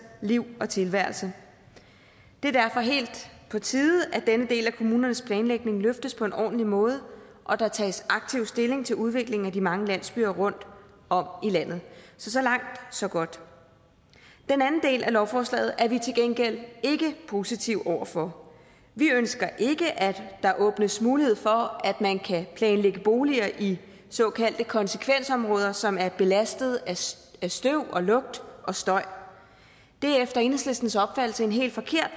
liv og tilværelse det er derfor helt på tide at denne del af kommunernes planlægning løftes på en ordentlig måde og at der tages aktiv stilling til udviklingen af de mange landsbyer rundt om i landet så langt så godt den anden del af lovforslaget er vi til gengæld ikke positive over for vi ønsker ikke at der åbnes mulighed for at man kan planlægge boliger i såkaldte konsekvensområder som er belastet af støv lugt og støj det er efter enhedslistens opfattelse en helt forkert